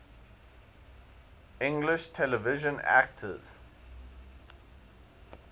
english television actors